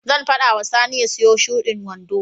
Zan faɗa wa Sani ya siyo shudin wando.